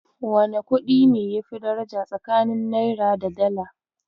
Wane kuɗi ne yafi daraja tsakanin Naira da Dala?